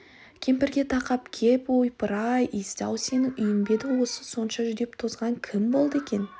кемпірге тақап кеп ойпыр-ау иіс-ау сенің үйің бе еді бұл осынша жүдеп тозған кім болды екен